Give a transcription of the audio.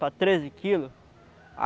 para treze quilos.